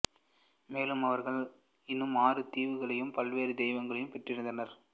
மேலும் அவர்கள் இன்னும் ஆறு தீவுகளையும் பல்வேறு தெய்வங்களையும் பெற்றெடுத்தனர்